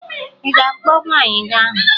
Ị ga-akpọ nwaanyị ahụ?